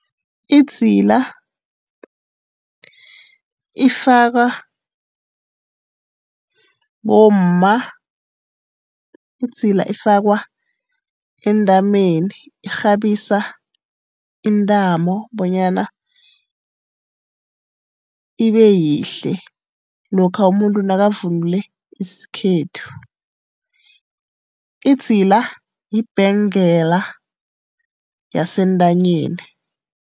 Idzila ifakwa bomma. Idzila ifakwa entanyeni, irhabisa intamo bonyana ibe yihle lokha umuntu nakavunule isikhethu. Idzila yibhengela yentanyeni.